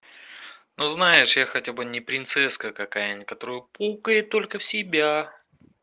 ну знаешь я хотя бы не принцесска какая некоторую пукает только в себя